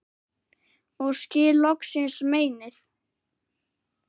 og skil loksins meinið